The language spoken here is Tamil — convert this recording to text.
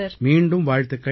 மீண்டும் வாழ்த்துக்கள்